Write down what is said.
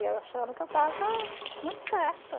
E eu achando que eu estava muito certa.